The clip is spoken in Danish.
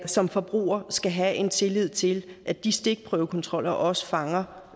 som forbruger skal man have en tillid til at de stikprøvekontroller også fanger